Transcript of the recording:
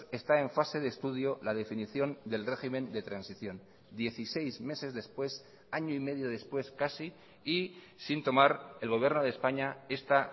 está en fase de estudio la definición del régimen de transición dieciséis meses después año y medio después casi y sin tomar el gobierno de españa esta